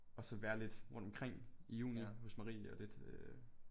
Og så være lidt rundt omkring i juni hos Marie og lidt øh